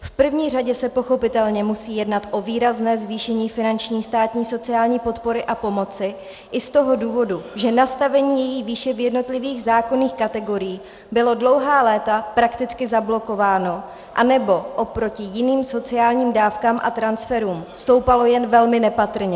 V první řadě se pochopitelně musí jednat o výrazné zvýšení finanční státní sociální podpory a pomoci i z toho důvodu, že nastavení její výše v jednotlivých zákonných kategoriích bylo dlouhá léta prakticky zablokováno anebo oproti jiným sociálním dávkám a transferům stoupalo jen velmi nepatrně.